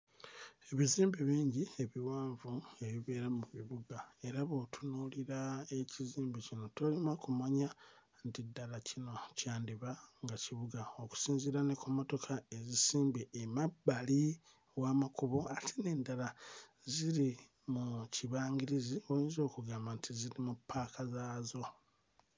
Ebizimbe bingi ebiwanvu ebibeera mu bibuga era bw'otunuulira ekizimbe kino tolemwa kumanya nti ddala kino kyandiba nga kibuga okusinziira ne ku mmotoka ezisimbye emabbali w'amakubo ate n'endala ziri mu kibangirizi w'oyinza okugamba nti ziri mu ppaaka zaazo.